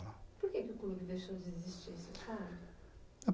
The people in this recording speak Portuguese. Por que o clube deixou de existir você sabe?